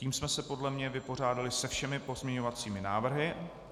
Tím jsme se podle mě vypořádali se všemi pozměňovacími návrhy.